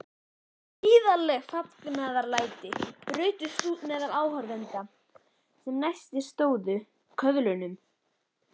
Gríðarleg fagnaðarlæti brutust út meðal áhorfenda sem næstir stóðu köðlunum.